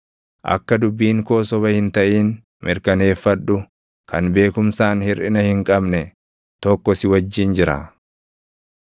Akka dubbiin koo soba hin taʼin mirkaneeffadhu; kan beekumsaan hirʼina hin qabne tokko si wajjin jira.